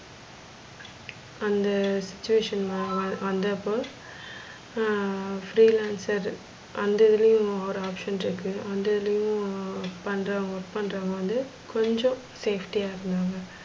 அந்த situation வா வந்தப்ப ஆஹ் free lancer அந்த இதுலையும் ஒரு option அந்த இதுலையும் பன்றவுங்க work பன்றவங்க வந்து கொஞ்ச safety யா இருந்தாங்க.